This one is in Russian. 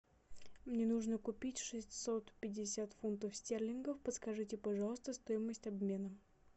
мне нужно купить шестьсот пятьдесят фунтов стерлингов подскажите пожалуйста стоимость обмена